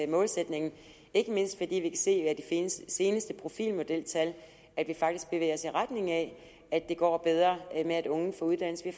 målsætningen ikke mindst fordi vi se af de seneste seneste profilmodeltal at vi faktisk bevæger os i retning af at det går bedre med at unge får uddannelse vi